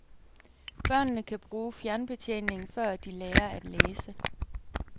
Børnene kan bruge fjernbetjeningen før de lærer at læse.